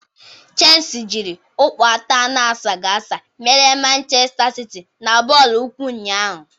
Chelsi jịrị ọkpọ atọ anasaghị asa merie Manchesta siti na bọọlụ ụkwụ ụnyaahụ